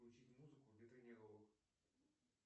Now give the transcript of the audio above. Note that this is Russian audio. включите музыку